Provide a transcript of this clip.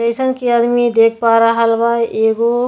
जइसन की आदमी देख पा रहल बा एगो --